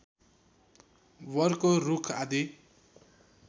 वरको रूख आदि